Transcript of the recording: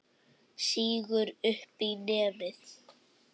Sýgur upp í nefið.